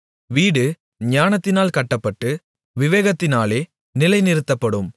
வீடு ஞானத்தினாலே கட்டப்பட்டு விவேகத்தினாலே நிலைநிறுத்தப்படும்